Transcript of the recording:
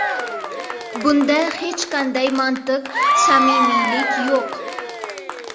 Bunda hech qanday mantiq, samimiylik yo‘q.